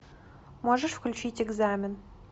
можешь включить экзамен